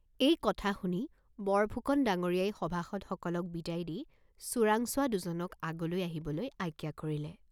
এই কথা শুনি বৰফুকন ডাঙৰীয়াই সভাসদসকলক বিদায় দি চোৰাংচোৱা দুজনক আগলৈ আহিবলৈ আজ্ঞা কৰিলে।